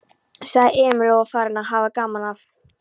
sagði Emil og var farinn að hafa gaman af.